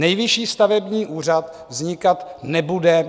Nejvyšší stavební úřad vznikat nebude.